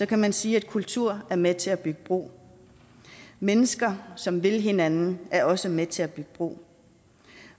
kan man sige at kultur er med til at bygge bro mennesker som vil hinanden er også med til at bygge bro